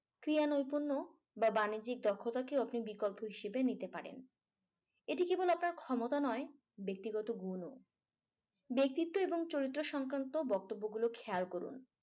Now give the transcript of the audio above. ক্রিয়া নৈপুণ্য বা বাণিজ্যিক দক্ষতা কে বিকল্প হিসেবে নিতে পারেন। এটি কেবল আপনার ক্ষমতা নয় ব্যক্তিগত গুণ ও। ব্যক্তিত্ব এবং চরিত্র সংক্রান্ত বক্তব্যগুলো খেয়াল করুন।